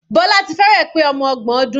Bola ti fẹ́rẹ̀ pé ọmọ ọgbọn ọdún.